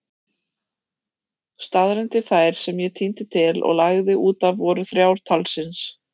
Staðreyndir þær sem ég tíndi til og lagði útaf voru þrjár talsins.